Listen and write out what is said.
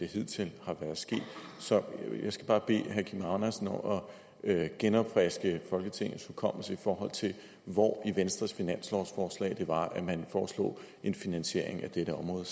hidtil har gjort så jeg skal bare bede herre kim andersen om at genopfriske folketingets hukommelse i forhold til hvor i venstres finanslovsforslag det var at man foreslog en finansiering af dette område